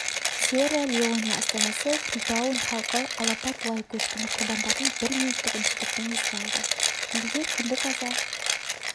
сьерра-леоне астанасы фритаун халқы алапат лай көшкіні құрбандарын бір минуттық үнсіздікпен еске алды елде күндік аза